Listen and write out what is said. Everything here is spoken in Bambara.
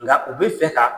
Nka u bɛ fɛ ka